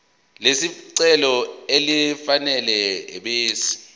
lesicelo elifanele ebese